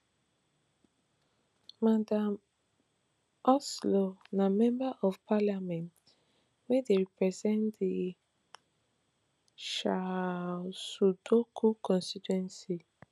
madam ocloo na member of parliament wey dey represent di shaiosudoku constituency